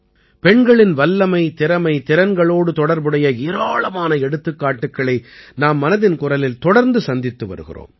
பெண்களின் வல்லமை திறமை திறன்களோடு தொடர்புடைய ஏராளமான எடுத்துக்காட்டுக்களை நாம் மனதின் குரலில் தொடர்ந்து சந்தித்து வருகிறோம்